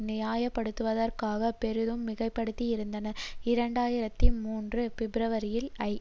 நியாயப்படுத்துவதற்காக பெரிதும் மிகைப்படுத்தியிருந்தனர் இரண்டு ஆயிரத்தி மூன்று பிப்ரவரியில் ஐ